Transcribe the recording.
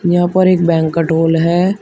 यहां पर एक बैंक्विट हॉल है।